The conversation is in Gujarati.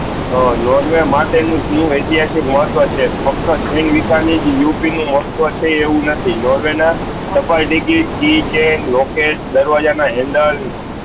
હા નોર્વે માટે ની ટીમ એતિહાસિક મહત્વ છે ફક્ત ઉપીન નું મહત્વ છે એવું નથી નોર્વે ના સફળ દીજીત કી ચેન લોકેટ દરવાજા ના હેન્ડલ